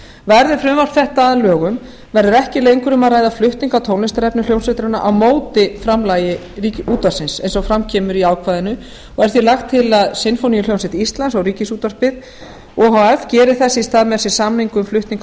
verði frumvarp þetta að lögum verður ekki lengur um að ræða flutning á tónlistarefni hljómsveitarinnar á móti framlagi útvarpsins eins og fram kemur í ákvæðinu og er því lagt til að sinfóníuhljómsveit íslands og ríkisútvarpið o h f geri þess í stað með sér samning um flutning